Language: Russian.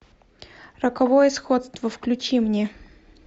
роковое сходство включи мне